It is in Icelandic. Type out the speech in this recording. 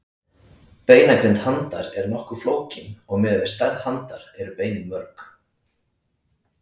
Beinagrind handar er nokkuð flókin og miðað við stærð handar eru beinin mörg.